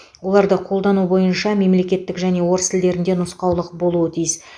оларды қолдану бойынша мемлекеттік және орыс тілдерінде нұсқаулық болуы тиіс